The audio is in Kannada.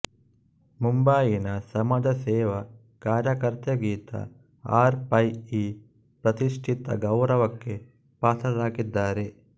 ಮುಂಬಯಿನ ಸಮಾಜಸೇವಾ ಕಾರ್ಯಕರ್ತೆಗೀತಾ ಆರ್ ಪೈ ಈ ಪ್ರತಿಷ್ಟಿತ ಗೌರವಕ್ಕೆ ಪಾತ್ರರಾಗಿದ್ದಾರೆ